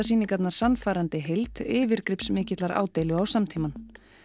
sýningarnar sannfærandi heild yfirgripsmikillar ádeilu á samtímann